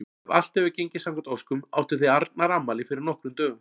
Ef allt hefur gengið samkvæmt óskum áttuð þið Arnar afmæli fyrir nokkrum dögum.